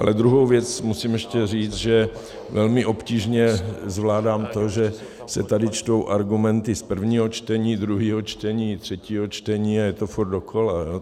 Ale druhou věc musím ještě říct, že velmi obtížně zvládám to, že se tady čtou argumenty z prvního čtení, druhého čtení, třetího čtení, a je to furt dokola.